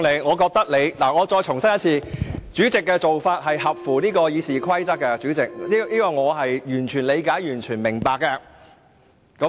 我再次重申，我認為你的做法符合《議事規則》的規定，而我亦對此完全理解和明白。